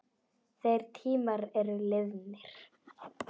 Þeir tímar eru liðnir.